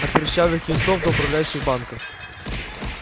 от прыщавых юнцов до управляющих банков